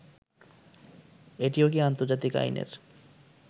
এটিও কি আন্তর্জাতিক আইনের